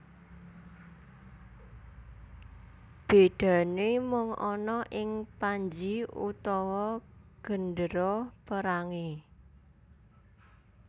Bedane mung ana ing panji utawa gendera perange